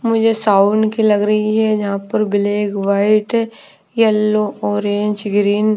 मुझे साउंड की लग रही है यहाँ पर black white yellow orange green --